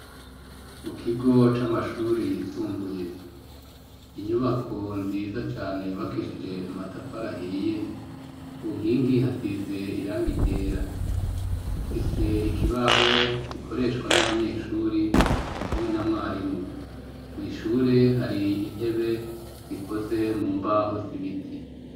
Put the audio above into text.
mu kigo c'amashuri yisumbuye inyubako nziza cane yubakishije amatafari ahiye ku nkingi hasize irangi ryera ifise ikibaho gikoreshwa n'abanyeshuri hamwe na mwarimu mu ishure hari intebe zikoze mu mbaho z'ibiti.